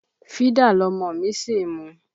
Fídà lọmọ mi ṣì ń mu.